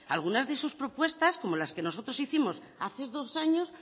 alguna de sus propuestas como las que nosotros hicimos hace dos años